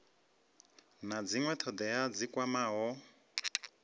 na dzinwe thodea dzi kwamaho